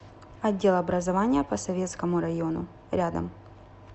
отдел образования по советскому району рядом